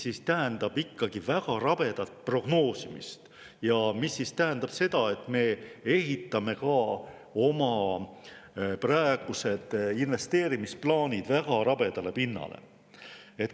See tähendab ikkagi väga rabedat prognoosimist ja seda, et me ehitame ka oma praegused investeerimisplaanid väga rabedale pinnale.